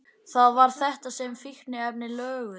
Það var þetta sem fíkniefnin löguðu.